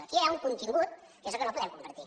aquí ja hi ha un contingut que és el que no podem compartir